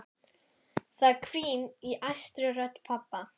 Það hvín í æstri rödd pabba.